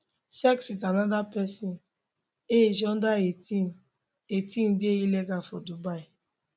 sex wit anoda pesin age under 18 18 dey illegal for dubai